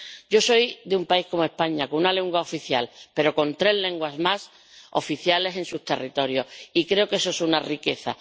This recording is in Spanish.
Yo soy de un país ―España― con una lengua oficial pero con tres lenguas más oficiales en su territorio, y creo que eso es una riqueza.